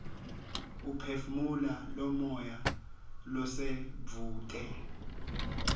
uphefumula lomoya losedvute